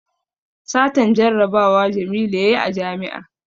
Satan jarabawa jamilu yayi a jami'a